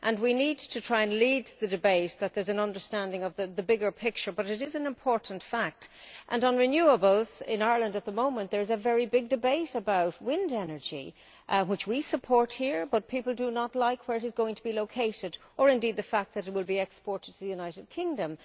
We need to try and lead the debate, so that there is an understanding of the bigger picture, but this is an important fact. On renewables, in Ireland at the moment there is a very big debate about wind energy, which we support here, but people do not like where it is going to be located, or indeed the fact that it will be exported to the United Kingdom.